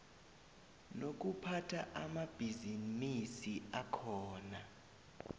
nokuphatha amabhisimisi akhona